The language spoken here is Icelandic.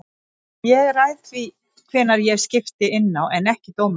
Ég ræð því hvenær ég skipti inná en ekki dómarinn.